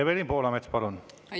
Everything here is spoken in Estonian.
Evelin Poolamets, palun!